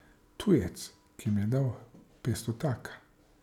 Tujec, ki mi je dal petstotaka?